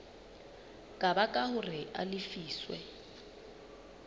ka baka hore a lefiswe